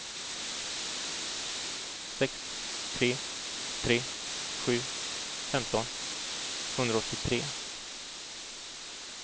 sex tre tre sju femton tvåhundraåttiotre